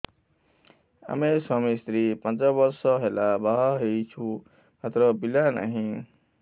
ଆମେ ସ୍ୱାମୀ ସ୍ତ୍ରୀ ପାଞ୍ଚ ବର୍ଷ ହେଲା ବାହା ହେଇଛୁ ମାତ୍ର ପିଲା ନାହିଁ